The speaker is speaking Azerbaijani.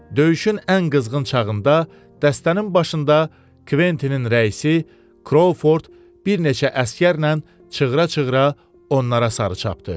Döyüşün ən qızğın çağında dəstənin başında Kvettinin rəisi Kroford bir neçə əsgərlə çığıra-çığıra onlara sarı çapdı.